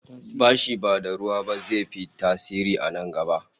Bashi ba da ruwa ba zai fi tasiri a na gaba